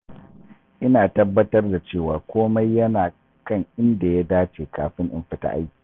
Ina tabbatar da cewa komai yana kan inda ya dace kafin in fita aiki.